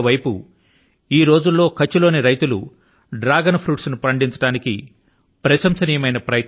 మరోవైపు ఈ రోజుల్లో కచ్ఛ్ లోని రైతులు డ్రాగన్ ఫ్రూట్స్ ను పండించడానికి ప్రశంసనీయమైన ప్రయత్నాలు చేస్తున్నారు